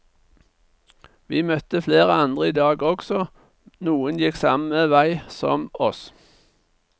Vi møtte flere andre idag også, noen gikk samme vei som oss.